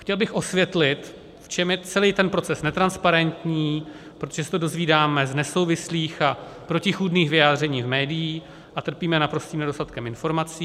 Chtěl bych osvětlit, v čem je celý ten proces netransparentní, protože se to dozvídáme z nesouvislých a protichůdných vyjádření v médiích a trpíme naprostým nedostatkem informací.